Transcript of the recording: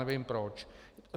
Nevím proč.